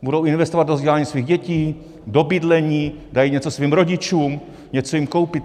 Budou investovat do vzdělání svých dětí, do bydlení, dají něco svým rodičům, něco jim koupí.